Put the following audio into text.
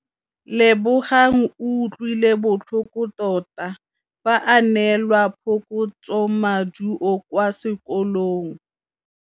Lebogang o utlwile botlhoko tota fa a neelwa phokotsômaduô kwa sekolong.